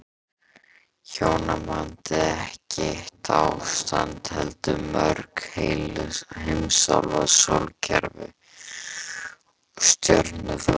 Hjónabandið ekki eitt ástand heldur mörg, heil heimsálfa, sólkerfi, stjörnuþoka.